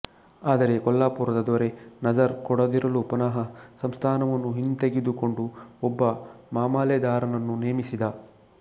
ಆದರೆ ಕೊಲ್ಲಾಪುರದ ದೊರೆ ನಜರ್ ಕೊಡದಿರಲು ಪುನಃ ಸಂಸ್ಥಾನವನ್ನು ಹಿಂತೆಗೆದುಕೊಂಡು ಒಬ್ಬ ಮಾಮಲೆದಾರನನ್ನು ನೇಮಿಸಿದ